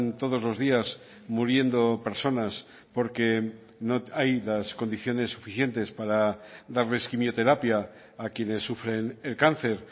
todos los días muriendo personas porque no hay las condiciones suficientes para darles quimioterapia a quienes sufren el cáncer